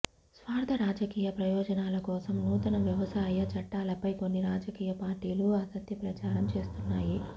స్వార్థ రాజకీయ ప్రయోజనాల కోసం నూతన వ్యవసాయ చట్టాలపై కొన్ని రాజకీయ పార్టీలు అసత్య ప్రచారం చేస్తున్నాయి